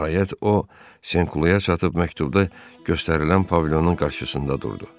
Nəhayət o Senklu-ya çatıb məktubda göstərilən pavilyonun qarşısında durdu.